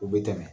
U bɛ tɛmɛ